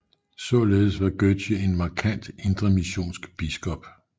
Således var Gøtzsche en markant indremissionsk biskop